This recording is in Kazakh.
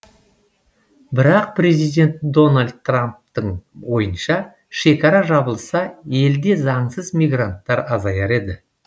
бірақ президент дональд трамптың ойынша шекара жабылса елде заңсыз мигранттар азаяр еді